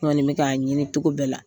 N kɔni bɛ k'a ɲini cogo bɛɛ la,